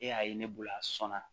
E y'a ye ne bolo a sɔnna